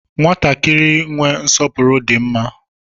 Nwatakịrị inwe nsọpụrụ di mma